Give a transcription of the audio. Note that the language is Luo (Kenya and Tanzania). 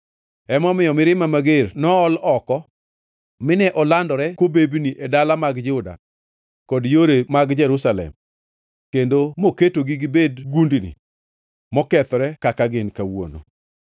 Emomiyo, mirimba mager nool oko; mine olandore kobebni e dala mag Juda kod yore mag Jerusalem kendo moketogi gibed gundini mokethore kaka gin kawuono.